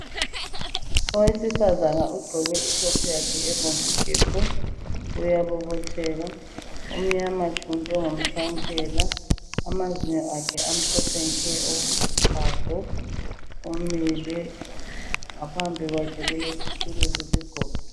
Owesifazana ogqoke i top yakhe ebomvu gebhu uyabobotheka umnyana tshu njengomtshwankela amazinyo akhe amhlophe nke okochago umile ngaphambi kwakhe kulesitulo sesigodo.